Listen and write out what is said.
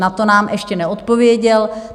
Na to nám ještě neodpověděl.